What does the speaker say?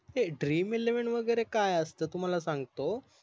ते DREAMELEVEN वगेरे काय असत तुम्हाला सांगतो